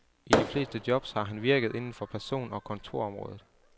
I de fleste jobs har han virket inden for person- og kontorområdet.